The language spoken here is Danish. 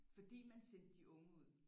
Fordi man sendte de unge ud